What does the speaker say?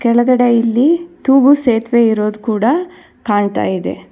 ಕೆಳಗಡೆ ಇಲ್ಲಿ ತೂಗು ಸೇತುವೆ ಇರೋದು ಕೂಡ ಕಾಣ್ತಾ ಇದೆ.